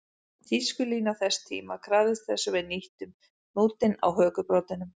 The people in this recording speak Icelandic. Tískulína þess tíma krafðist þess að við hnýttum hnútinn á hökubroddinum